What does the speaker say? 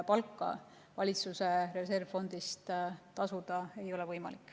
Palka valitsuse reservfondist tasuda ei ole võimalik.